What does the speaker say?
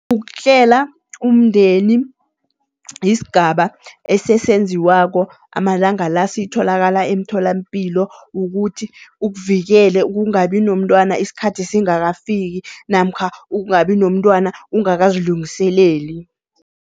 Ukuhlela umndeni, yisigaba esesenziwako amalanga la, sitholakala emtholampilo. Wukuthi ukuvikele ukungabi nomntwana isikhathi singakafiki namkha ukungabi nomntwana ungakazilungiseleli.